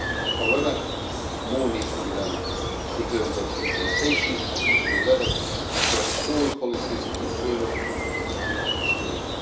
However, more needs to be done in terms of implementation at the EU level across all policies internal and external.